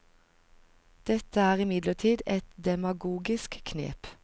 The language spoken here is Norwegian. Dette er imidlertid et demagogisk knep.